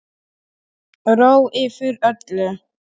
Ró yfir öllu.